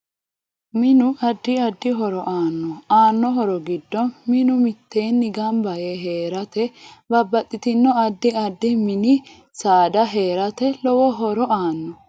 Minu addi addi horo aano aano horo giddo manu miteeni ganba yee heerate, babbaxitino addi addi mini saada heerate lowo horo aanno